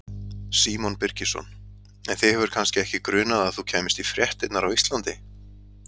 Símon Birgisson: En þig hefur kannski ekki grunað að þú kæmist í fréttirnar á Íslandi?